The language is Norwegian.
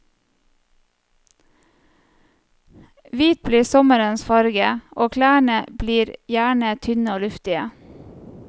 Hvit blir sommerens farve, og klærne blir gjerne tynne og luftige.